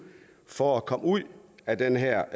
for at komme ud af den her